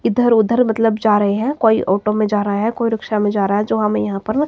इधर उधर मतलब जा रहे हैं कोई ऑटो में जा रहा है कोई रिक्शा में जा रहा है जो हमें यहां पर--